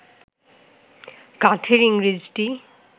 কাঠের ইংরেজটি